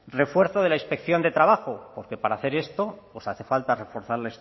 refuerzo de la inspección de trabajo porque para hacer esto hace falta reforzar